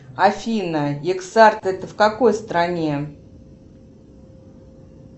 афина икс арт это в какой стране